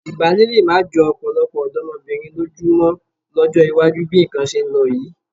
Ìbálé lé má jọ ọ̀pọ̀lọpọ̀ ọ̀dọ́mọbìnrin lójú mọ́ lọ́jọ́ iwájú bí nǹkan ṣe ń lọ yìí.